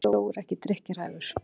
af hverju er sjór ekki drykkjarhæfur